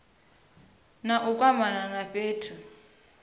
na u kwamana na fhethu